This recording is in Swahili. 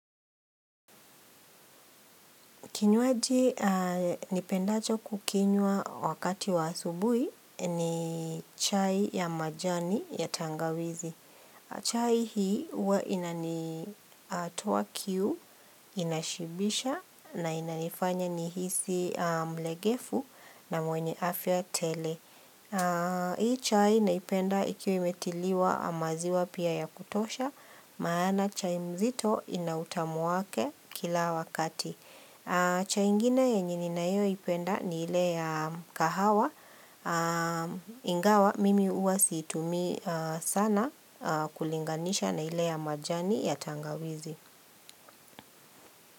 Kinywaji nipendacho kukinywa wakati wa asubuhi ni chai ya majani ya tangawizi. Chai hii huwa inanitoa kiu, inashibisha na inanifanya ni hisi mlegefu na mwenye afya tele. Hii chai naipenda ikiwa imetiliwa maziwa pia ya kutosha maana chai mzito inautamu wake kila wakati. Cha ingine yenye ninayoipenda ni ile ya kahawa. Ingawa mimi huwa situmii sana kulinganisha na ile ya majani ya tangawizi.